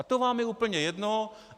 A to vám je úplně jedno.